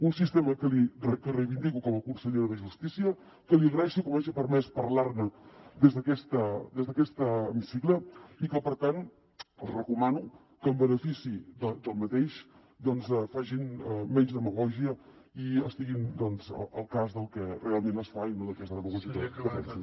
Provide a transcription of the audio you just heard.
un sistema que reivindico com a consellera de justícia que li agraeixo que m’hagi permès parlar ne des d’aquest hemicicle i que per tant els recomano que en benefici d’aquest doncs facin menys demagògia i estiguin al cas del que realment es fa i no d’aquesta demagògia que defensen